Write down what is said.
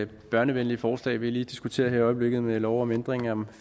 børnevenligt forslag vi diskuterer her i øjeblikket med lov om ændring af